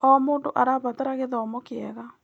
O mũndũ arabatara gĩthomo kĩega.